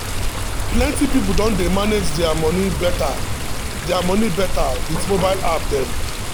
plenty people don dey manage their money better their money better with mobile app dem.